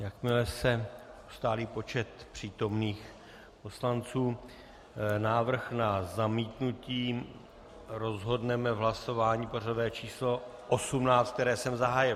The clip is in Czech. Jakmile se ustálí počet přítomných poslanců, návrh na zamítnutí rozhodneme v hlasování pořadové číslo 18, které jsem zahájil.